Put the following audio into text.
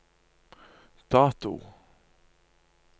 dato